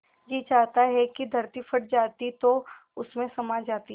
जी चाहता था कि धरती फट जाती तो उसमें समा जाती